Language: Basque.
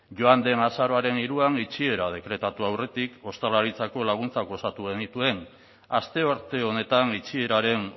joan den azaroaren hiruan itxiera dekretatu aurretik ostalaritzako laguntzak osatu genituen astearte honetan itxieraren